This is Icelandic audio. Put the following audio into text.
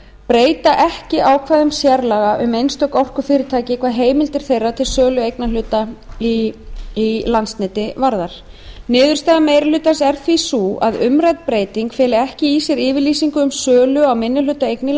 breyta ekki ákvæðum sérlaga um einstök orkufyrirtæki hvað heimildir þeirra til sölu eignarhluta í landsneti varðar niðurstaða meiri hlutans er því sú að umrædd breyting feli ekki í sér yfirlýsingu um sölu á minnihlutaeign í